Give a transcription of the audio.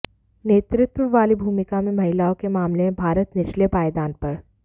नेतृत्व वाली भूमिका में महिलाओं के मामले में भारत निचले पायदान पर